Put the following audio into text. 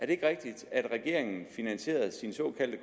det ikke rigtigt at regeringen finansierede sin såkaldt